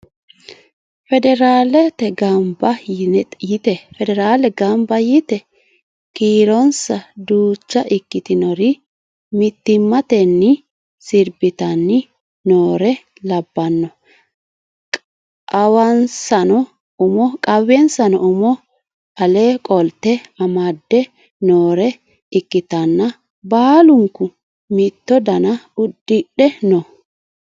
Federale gambba yite kiironsa duucha ikkitinori mittimatteni sirbitanni noore labbano qawwensano umo ale qolte amadde noore ikkitanna baalunku mitto dana udidhe no